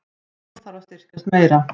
Krónan þarf að styrkjast meira